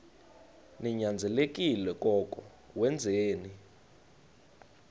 ninyanzelekile koko wenzeni